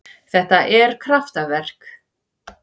Þetta er kraftaverk.